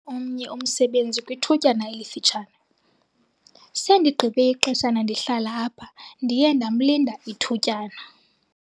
omnye umsebenzi kwithutyana elifutshane. sendigqibe ixeshana ndihlala apha, ndiye ndamlinda ithutyana